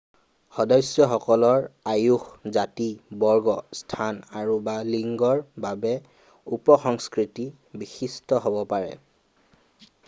সদস্যসকলৰ আয়ুস জাতি বৰ্গ স্থান আৰু/বা লিংগৰ বাবে উপসংস্কৃতি বিশিষ্ট হব পাৰে।